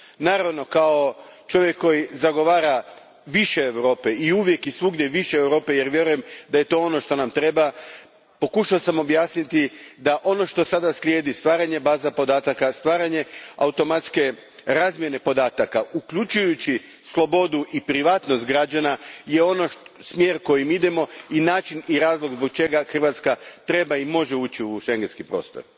Naravno, kao čovjek koji zagovara više Europe, i uvijek i svugdje više Europe, jer vjerujem da je to ono što nam treba, pokušao sam objasniti da ono što sada slijedi je stvaranje baza podataka, stvaranje automatske razmjene podataka, uključujući slobodu i privatnost građana, to je smjer kojim idemo i način i razlog zbog kojeg Hrvatska treba i može ući u Schengenski prostor.